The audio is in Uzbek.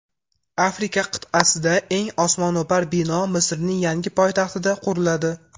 Afrika qit’asidagi eng osmono‘par bino Misrning yangi poytaxtida quriladi.